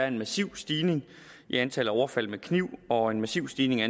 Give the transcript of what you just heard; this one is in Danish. en massiv stigning i antallet af overfald med kniv og en massiv stigning i